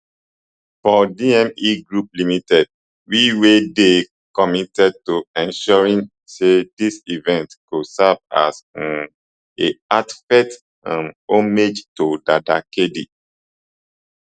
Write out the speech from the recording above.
for dme group ltd we we dey committed to ensuring say dis event go serve as um a heartfelt um homage to dada kd